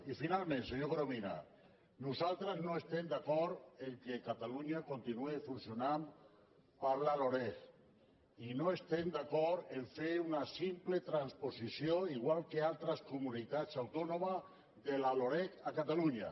i finalment senyor corominas nosaltres no estem d’acord que catalunya continuï funcionant per la loreg i no estem d’acord a fer una simple transposició igual que altres comunitats autònomes de la loreg a catalunya